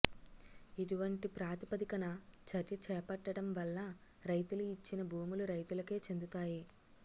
ఇటువంటి ప్రాతి పదికన చర్య చేపట్టడంవల్ల రైతులు ఇచ్చిన భూములు రైతులకే చెందుతాయి